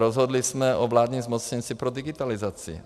Rozhodli jsme o vládním zmocněnci pro digitalizaci.